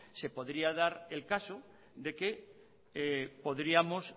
se podría dar el caso de que podríamos